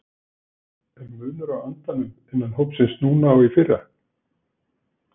Er munur á andanum innan hópsins núna og í fyrra?